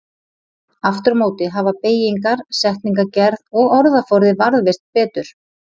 Aftur á móti hafa beygingar, setningagerð og orðaforði varðveist betur.